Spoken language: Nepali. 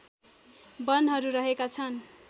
वनहरू रहेका छन्